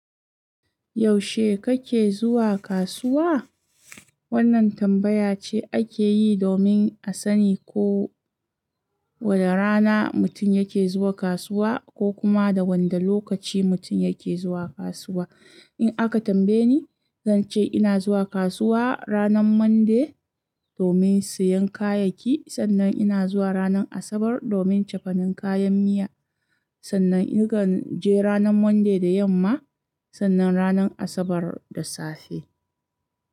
Yaushe kake zuwa kasuwa? Wannan tambaya ce ake yi domin a sani ko wane rana mutum yake zuwa kasuwa ko kuma da wanda lokaci mutum yake zuwa kasuwa. In aka tambaye ni, zan ce ina zuwa kasuwa ranar Monday domin siyan kayayyaki, sannan ina zuwa ranar Asabar domin cefanin kayan miya. Sannan in kan je ranar Monday da yamma, sannan ranar Asabar da safe.